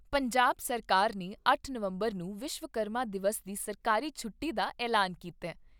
ਪੰਜਾਬ ਸਰਕਾਰ ਨੇ ਅੱਠ ਨਵੰਬਰ ਨੂੰ ਵਿਸ਼ਵਕਰਮਾ ਦਿਵਸ ਦੀ ਸਰਕਾਰੀ ਛੁੱਟੀ ਦਾ ਐਲਾਨ ਕੀਤਾ ।